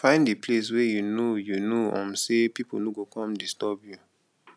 find di place where you know you know um sey pipo no go come disturb you